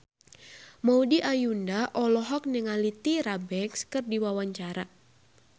Maudy Ayunda olohok ningali Tyra Banks keur diwawancara